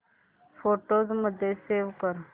photos मध्ये save कर